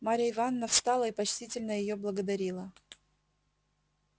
марья ивановна встала и почтительно её благодарила